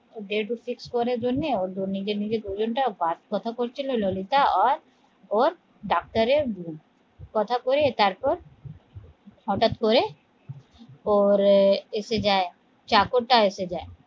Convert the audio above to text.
date fix করার জন্যে ঔর নিজের নিজের করছে কি ললিতা ওর ডাক্তারের বোন কথা কয়েস তারপর হটাত করে এসে যায় চাকরটা এসে যায়